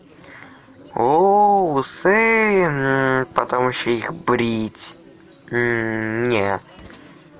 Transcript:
о усы потом ещё их брить не